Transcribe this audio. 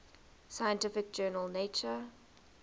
scientific journal nature